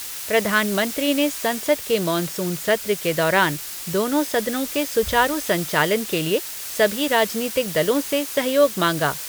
प्रधानमंत्री ने संसद के मॉनसून सत्र के दौरान दोनों सदनों के सुचारू संचालन के लिए सभी राजनीतिक दलों से सहयोग मांगा।